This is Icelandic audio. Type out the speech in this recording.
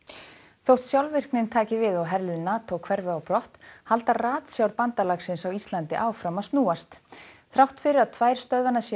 þótt sjálfvirknin taki við og herlið NATO hverfi á brott halda ratsjár bandalagsins á Íslandi áfram að snúast þrátt fyrir að tvær stöðvanna séu á